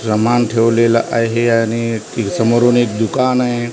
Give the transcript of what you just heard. समान ठेवलेलं आहे आणि एक समोरून एक दुकान आहे.